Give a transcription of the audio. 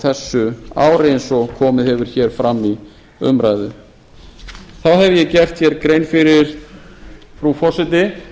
þessu ári eins og komið hefur fram í umræðu þá hef ég gert grein fyrir frú forseti